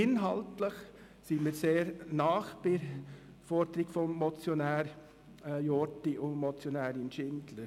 Inhaltlich sind wir somit sehr nahe bei der Forderung des Motionärs Jordi und der Motionärin Schindler.